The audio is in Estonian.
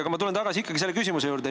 Aga ma tulen tagasi ikkagi küsimuse juurde.